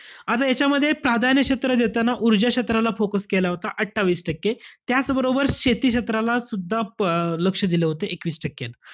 आता यांच्यामध्ये प्राधान्य क्षेत्र देताना ऊर्जा क्षेत्राला केला होता, अठ्ठावीस टक्के. त्याच बरोबर शेती क्षेत्राला सुद्धा प अं लक्ष दिलं होतं एकवीस टक्के.